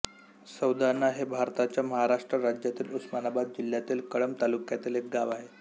सौंदाणा हे भारताच्या महाराष्ट्र राज्यातील उस्मानाबाद जिल्ह्यातील कळंब तालुक्यातील एक गाव आहे